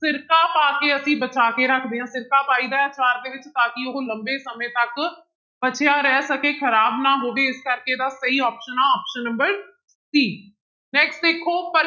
ਸਿਰਕਾ ਪਾ ਕੇ ਅਸੀਂ ਬਚਾ ਕੇ ਰੱਖਦੇ ਹਾਂ ਸਿਰਕਾ ਪਾਈਦਾ ਹੈ ਆਚਾਰ ਦੇ ਵਿੱਚ ਤਾਂ ਕਿ ਉਹ ਲੰਬੇ ਸਮੇਂ ਤੱਕ ਬਚਿਆ ਰਹਿ ਸਕੇ ਖ਼ਰਾਬ ਨਾ ਹੋਵੇ ਇਸ ਕਰਕੇ ਇਹਦਾ option ਆਂ option number c next ਦੇਖੋ